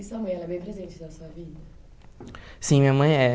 E sua mãe, ela é bem presente na sua vida? Sim, minha mãe é